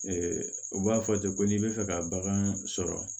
u b'a fɔ ten ko n'i bɛ fɛ ka bagan sɔrɔ